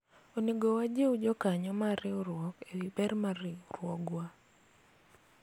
onego wajiw jokanyo mar riwruok ewi ber mar riwruogwa